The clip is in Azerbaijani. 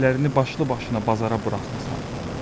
Devlərini başlı-başına bazara buraxmısan?